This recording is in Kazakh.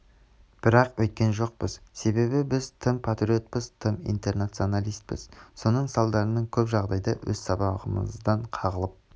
бірақ өйткен жоқпыз себебі біз тым патриотпыз тым интернационалиспіз соның салдарынан көп жағдайда өз сыбағамыздан қағылып